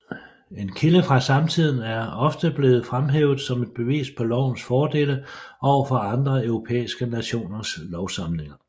En kilde fra samtiden er ofte blevet fremhævet som et bevis på lovens fordele overfor andre europæiske nationers lovsamlinger